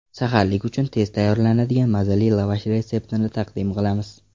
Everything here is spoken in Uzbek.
Saharlik uchun tez tayyorlanadigan, mazali lavash retseptini taqdim qilamiz.